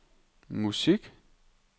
musik